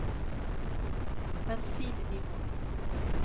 bensinnivå